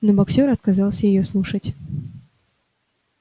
но боксёр отказался её слушать